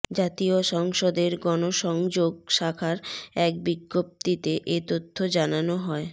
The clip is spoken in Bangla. জাতীয় সংসদের গণসংযোগ শাখার এক বিজ্ঞপ্তিতে এ তথ্য জানানো হয়